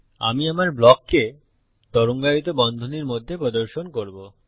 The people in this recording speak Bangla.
আমি আমার ব্লককে তরঙ্গায়িত বন্ধনীর মধ্যে প্রদর্শন করব